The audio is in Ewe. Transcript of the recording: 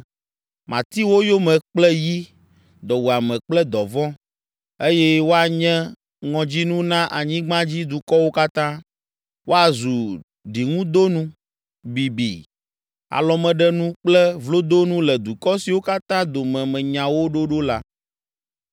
Mati wo yome kple yi, dɔwuame kple dɔvɔ̃, eye woanye ŋɔdzinu na anyigbadzidukɔwo katã. Woazu ɖiŋudonu, bibi, alɔmeɖenu kple vlodonu le dukɔ siwo katã dome menya wo ɖo ɖo la.